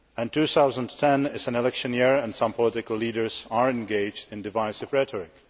2010 is an election year and some political leaders are engaged in divisive rhetoric.